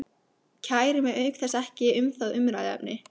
Kæri mig auk þess ekki um það umræðuefni.